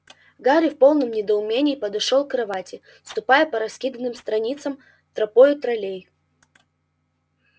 гарри в полном недоумении подошёл к кровати ступая по раскиданным страницам тропою троллей